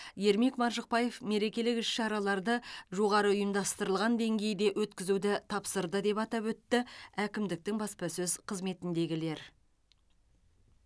ермек маржықпаев мерекелік іс шараларды жоғарғы ұйымдастырылған деңгейде өткізуді тапсырды деп атап өтті әкімдіктің баспасөз қызметіндегілер